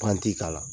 Panti k'a la